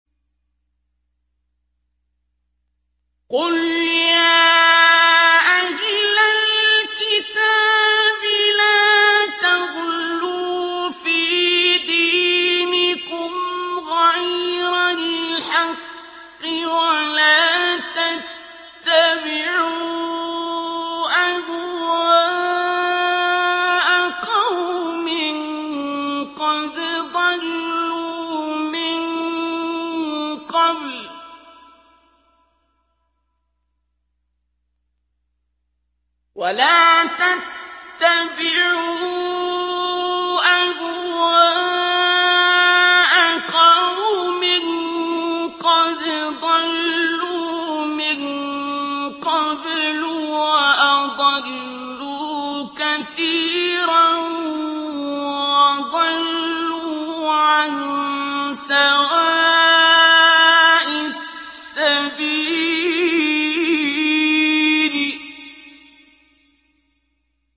قُلْ يَا أَهْلَ الْكِتَابِ لَا تَغْلُوا فِي دِينِكُمْ غَيْرَ الْحَقِّ وَلَا تَتَّبِعُوا أَهْوَاءَ قَوْمٍ قَدْ ضَلُّوا مِن قَبْلُ وَأَضَلُّوا كَثِيرًا وَضَلُّوا عَن سَوَاءِ السَّبِيلِ